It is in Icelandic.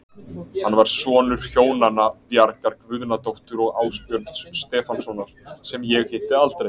Hann var sonur hjónanna Bjargar Guðnadóttur og Ásbjörns Stefánssonar, sem ég hitti aldrei.